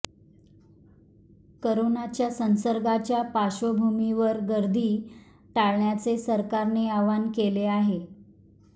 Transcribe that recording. करोनाच्या संसर्गाच्या पार्श्वभूमीवर गर्दी टाळण्याचे सरकारने आवाहन केले आहे